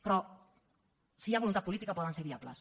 però si hi ha voluntat política poden ser viables